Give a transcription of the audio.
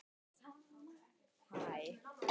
Er sú vinna langt komin.